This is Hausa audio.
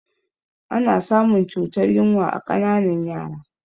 Ana samun cutar yunwa a ƙananan yara